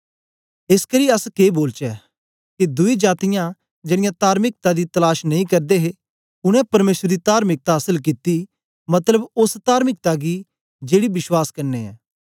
एसकरी अस के बोलचै के दुई जातीयां जेड़ीयां तार्मिकता दी तलाश नेई करदे हे उनै परमेसर दी तार्मिकता आसल कित्ती मतलब ओस तार्मिकता गी जेड़ी विश्वास क्न्ने ऐ